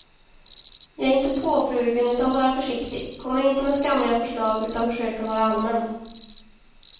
Jag är inte påflugen utan bara försiktig, kommer inte med skamliga förslag utan försöker vara allmän.